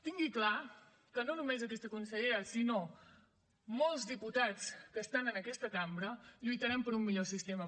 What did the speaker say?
tingui clar que no només aquesta consellera sinó molts diputats que estan en aquesta cambra lluitarem per un millor sistema